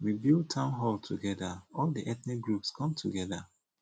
We build town hall together all the ethnic groups come together